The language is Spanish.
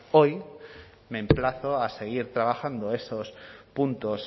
hoy me emplazo a seguir trabajando esos puntos